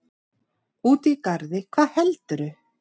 Úti í garði, hvað heldurðu!